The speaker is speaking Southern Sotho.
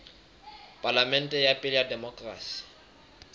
palamente ya pele ya demokerasi